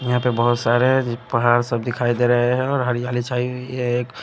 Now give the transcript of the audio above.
यहां पे बहोत सारे पहाड़ सब दिखाई दे रहे है और हरियाली छाई हुई है। ये एक--